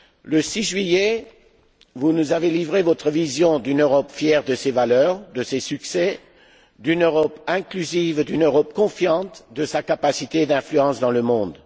Le 6 juillet, vous nous avez livré votre vision d'une Europe fière de ses valeurs, de ses succès, d'une Europe inclusive, d'une Europe confiante dans sa capacité d'influence dans le monde.